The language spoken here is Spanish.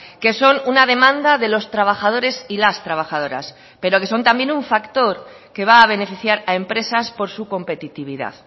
que son una demanda de los trabajadores y las trabajadoras pero que son también un factor que va a beneficiar a empresas por su competitividad